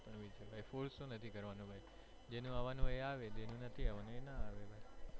ભાઈ force તો નથી કરવાનો ભાઈ જેને આવાનું હોય એ આવે જેનું નથી આવાનું ના આવે.